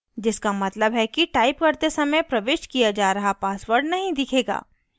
जिसका मतलब है कि type करते समय प्रविष्ट किया जा रहा password नहीं दिखेगा